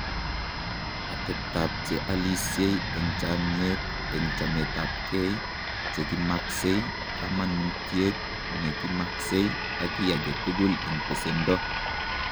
Ateptap che alisye eng' chamyet eng' chametapkei, che ki maksei, kamanuutyet ne ki maksei, ak kiy age tugul eng' pesendo.